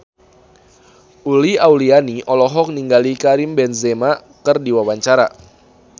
Uli Auliani olohok ningali Karim Benzema keur diwawancara